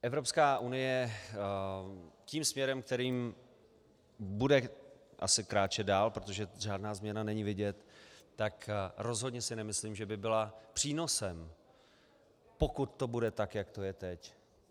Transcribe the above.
Evropská unie tím směrem, kterým bude asi kráčet dále, protože žádná změna není vidět, tak rozhodně si nemyslím, že by byla přínosem, pokud to bude tak, jak to je teď.